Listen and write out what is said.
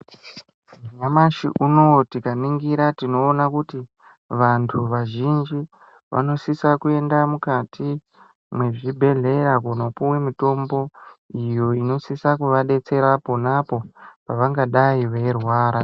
Nyamashi unowu tikaningira tinoona kuti vantu vazhinji vanosisa kuenda mukati mwezvibhedhlera kundopuwa mutombo iyo inosisa kuvadetsera ponapo pavangadai veirwara.